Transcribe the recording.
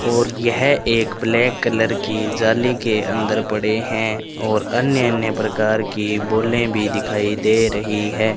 और यह एक ब्लैक कलर की जाली के अंदर पड़े हैं और अन्य अन्य प्रकार की बोलें भी दिखाई दे रही है।